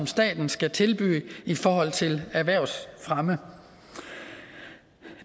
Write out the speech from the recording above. staten skal tilbyde i forhold til erhvervsfremme